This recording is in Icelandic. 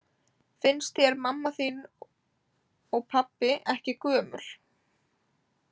Finnst þér mamma þín og pabbi ekki gömul?